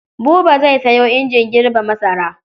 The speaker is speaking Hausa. Buba zai sayo injin girbe masara.